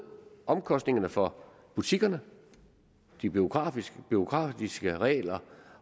omkostningerne for butikkerne de bureaukratiske bureaukratiske regler